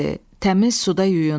Təmiz suda yuyundu.